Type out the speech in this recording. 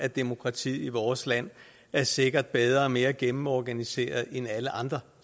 at demokratiet i vores land sikkert er bedre og mere gennemorganiseret end alle andre